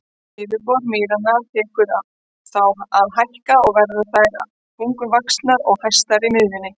Yfirborð mýranna tekur þá að hækka og verða þær þá bunguvaxnar og hæstar í miðju.